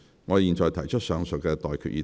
我現在向各位提出上述待決議題。